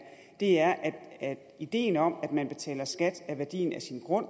er at ideen om at man betaler skat af værdien af sin grund